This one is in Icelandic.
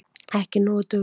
Ekki nógu dugleg.